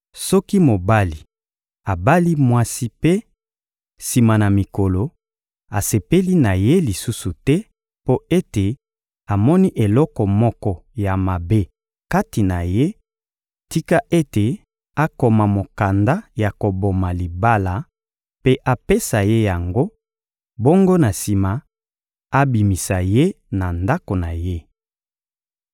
Soki mobali abali mwasi mpe, sima na mikolo, asepeli na ye lisusu te mpo ete amoni eloko moko ya mabe kati na ye, tika ete akoma mokanda ya koboma libala mpe apesa ye yango; bongo na sima, abimisa ye na ndako na ye.